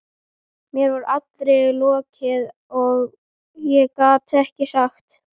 Mér var allri lokið og ég gat ekkert sagt.